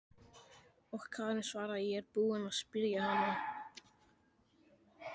Og Karen svaraði: Ég er búin að spyrja hana.